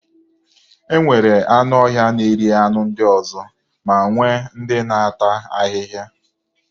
E nwere anụọhịa na-eri anụ ndị ọzọ ma nwee ndị na-ata ahịhịa.